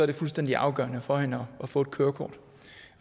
det fuldstændig afgørende for hende at få et kørekort